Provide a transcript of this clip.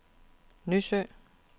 Nysø